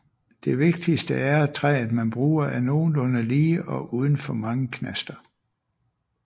Det vigtigste er at træet man bruger er nogenlunde lige og uden for mange knaster